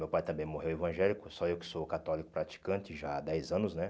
Meu pai também morreu evangélico, só eu que sou católico praticante já há dez anos, né?